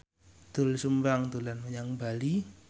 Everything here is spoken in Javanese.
Doel Sumbang dolan menyang Bali